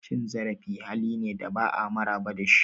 Cin zarafi hali ne da ba'a maraba da shi.